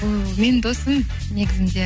ол менің досым негізінде